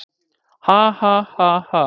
Ha, ha, ha, ha.